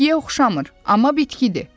Bitkiyə oxşamır, amma bitkidir.